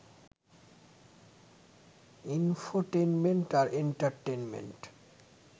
infotainment আর entertainment